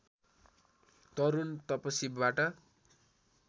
तरुण तपसीबाट